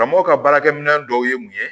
Karamɔgɔ ka baarakɛminɛ dɔw ye mun ye